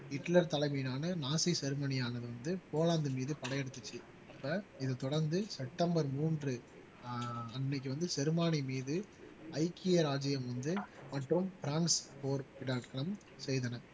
Hitler தலைமையிலான Nazi ஜெர்மனியானது வந்து போலந்து மீது படையெடுத்துச்சு இப்ப இது தொடர்ந்து செப்டம்பர் மூன்று ஆஹ் அன்னைக்கு வந்து ஜெர்மானி மீது ஐக்கிய ராஜ்ஜியம் வந்து மற்றும் பிரான்ஸ் போர் செய்தனர்